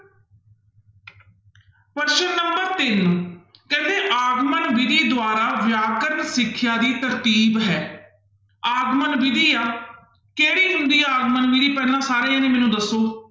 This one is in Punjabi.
ਪ੍ਰਸ਼ਨ number ਤਿੰਨ ਕਹਿੰਦੇ ਆਗਮਨ ਵਿੱਧੀ ਦੁਆਰਾ ਵਿਆਕਰਨ ਸਿੱਖਿਆ ਦੀ ਤਰਤੀਬ ਹੈ ਆਗਮਨ ਵਿੱਧੀ ਆ, ਕਿਹੜੀ ਹੁੰਦੀ ਆ ਆਗਮਨ ਵਿੱਧੀ ਪਹਿਲਾਂ ਸਾਰੇ ਜਾਣੇ ਮੈਨੂੰ ਦੱਸੋ।